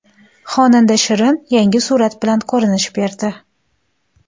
Xonanda Shirin yangi surat bilan ko‘rinish berdi.